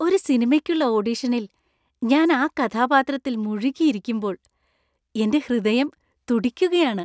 ഒരു സിനിമയ്ക്കുള്ള ഓഡിഷനിൽ ഞാൻ ആ കഥാപാത്രത്തിൽ മുഴുകിയിരിക്കുമ്പോൾ എന്‍റെ ഹൃദയം തുടിക്കുകയാണ്.